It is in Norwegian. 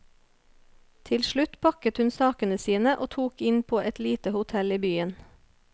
Til slutt pakket hun sakene sine og tok inn på et lite hotell i byen.